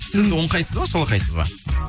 сіз оңқайсыз ба солақайсыз ба